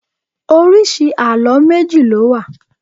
Oríṣi àlọ́ méjì ló wà